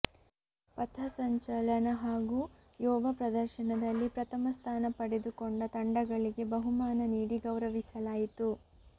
ಪಥಸಂಚಲನ ಹಾಗೂ ಯೋಗ ಪ್ರದರ್ಶನದಲ್ಲಿ ಪ್ರಥಮ ಸ್ಥಾನ ಪಡೆದುಕೊಂಡ ತಂಡಗಳಿಗೆ ಬಹುಮಾನ ನೀಡಿ ಗೌರವಿಸಲಾಯಿತು